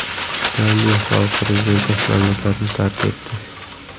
Gambiya sobiq prezidenti mamlakatni tark etdi.